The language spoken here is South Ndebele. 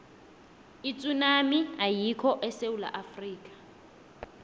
itsunami ayikho esewula afrika